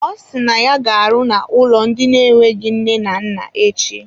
Ọ si na ya ga-arụ n'ụlọ ndị na-enweghị nne na nna echi.